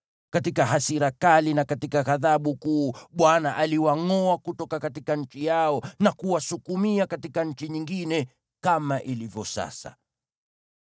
Katika hasira kali na katika ghadhabu kuu Bwana aliwangʼoa kutoka nchi yao na kuwasukumia katika nchi nyingine, kama ilivyo sasa.”